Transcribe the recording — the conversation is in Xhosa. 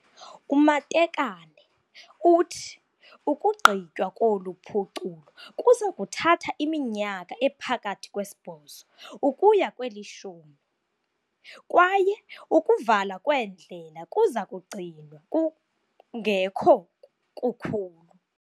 UMatekane uthi ukugqitywa kolu phuculo kuza kuthatha iminyaka ephakathi kwesibhozo ukuya kwelishumi, kwaye ukuvala kweendlela kuza kugcinwa kungekho kukhulu.